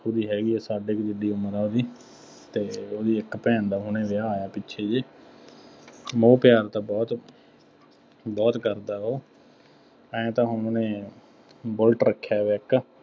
ਉਹਦੀ ਹੈਗੀ ਆ, ਸਾਡੇ ਕੁ ਜਿੱਡੀ ਉਮਰ ਆ ਉਹਦੀ ਅਤੇ ਉਹਦੀ ਇੱਕ ਭੈਣ ਦਾ ਹੁਣੇ ਵਿਆਹ ਆਇਆ, ਪਿੱਛੇ ਜਿਹੇ ਮੋਹ ਪਿਆਰ ਤਾਂ ਬਹੁਤ ਬਹੁਤ ਕਰਦਾ ਉਹ ਆਏਂ ਤਾਂ ਹੁਣ ਉਹਨੇ ਬੁੱਲਟ ਰੱਖਿਆ ਹੋਇਆ ਇੱਕ,